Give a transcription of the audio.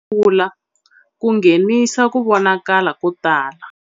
Tindzololo ta wena ta kula ku nghenisa ku vonakala ko tala.